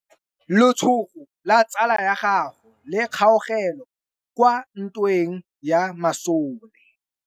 Letsôgô la tsala ya gagwe le kgaogile kwa ntweng ya masole.